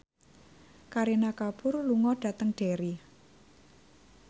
Kareena Kapoor lunga dhateng Derry